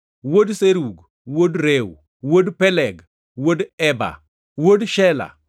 wuod Serug, wuod Reu, wuod Peleg, wuod Eber, wuod Shela,